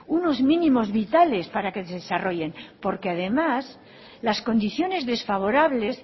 unos mínimos vitales para que se desarrollen porque además las condiciones desfavorables